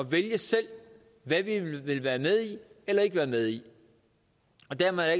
vælge selv hvad vi vil være med i eller ikke være med i og dermed er